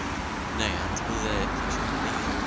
Nei, hann trúði ekki sínum eigin augum.